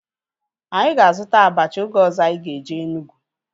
Anyị ga-azuta abacha oge ọzọ anyị ga-eje Enugwu